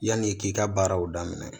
Yanni k'i ka baaraw daminɛ